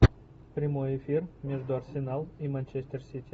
прямой эфир между арсенал и манчестер сити